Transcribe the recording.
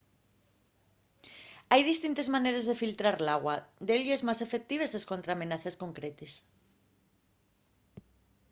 hai distintes maneres de filtrar l’agua delles más efectives escontra amenaces concretes